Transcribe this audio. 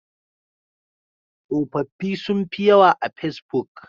Tsofaffi sun fi yawa a fesbuk.